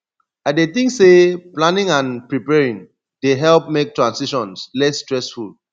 i dey think say planning and preparing dey help make transitions less stressful